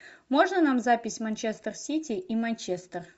можно нам запись манчестер сити и манчестер